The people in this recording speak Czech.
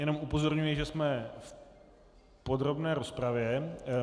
Jenom upozorňuji, že jsme v podrobné rozpravě.